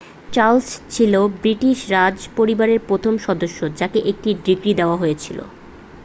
Charles ছিলেন British রাজ পরিবারের প্রথম সদস্য যাকে একটা ডিগ্রী দেওয়া হয়েছিল